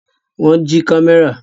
Wọ́n jí kámẹ́rà?